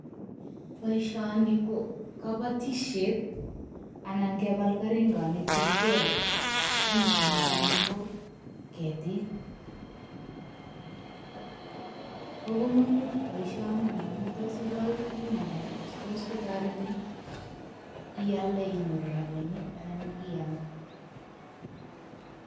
Boisioni ko kabatisiet anan kebal keringonik chekigole ndisinik anan ko ketik. Bo komonut boisioni momu tos igol tugun alak, che tos kotoretin iyalde inyoru rabinik anan iyam.